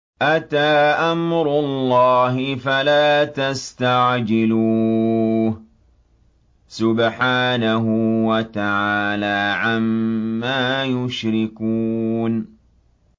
أَتَىٰ أَمْرُ اللَّهِ فَلَا تَسْتَعْجِلُوهُ ۚ سُبْحَانَهُ وَتَعَالَىٰ عَمَّا يُشْرِكُونَ